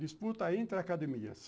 Disputa entre academias.